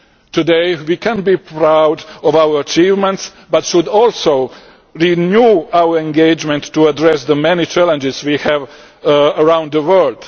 Today we can be proud of our achievements but should also renew our engagement to address the many challenges we have around the world.